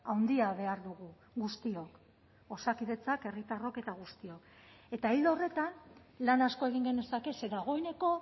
handia behar dugu guztiok osakidetzak herritarrok eta guztiok eta ildo horretan lan asko egin genezake ze dagoeneko